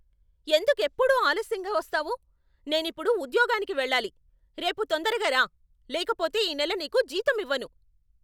ఎందుకెప్పుడూ ఆలస్యంగా వస్తావు? నేనిప్పుడు ఉద్యోగానికి వెళ్ళాలి! రేపు తొందరగా రా, లేకపోతే ఈ నెల నీకు జీతమివ్వను.